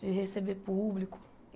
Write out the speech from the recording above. De receber público.